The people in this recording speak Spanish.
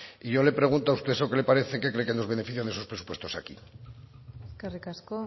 y yo le pregunto a usted qué le parece en qué cree que nos benefician esos presupuestos aquí eskerrik asko